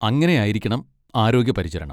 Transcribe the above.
അങ്ങനെ ആയിരിക്കണം ആരോഗ്യ പരിചരണം.